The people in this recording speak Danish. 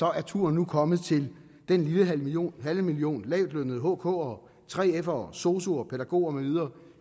er turen nu kommet til den lille halve million halve million lavtlønnede hk’ere 3f’ere sosu’er pædagoger med videre